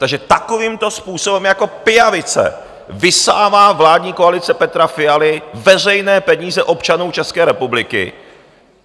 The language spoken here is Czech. Takže takovýmto způsobem jako pijavice vysává vládní koalice Petra Fialy veřejné peníze občanů České republiky.